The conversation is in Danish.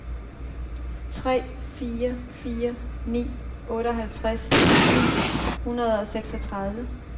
tre fire fire ni otteoghalvtreds ni hundrede og seksogtredive